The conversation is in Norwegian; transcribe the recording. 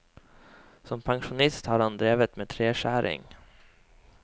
Som pensjonist har han drevet med treskjæring.